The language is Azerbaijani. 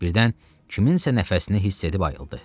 Birdən kimsə nəfəsini hiss edib ayıldı.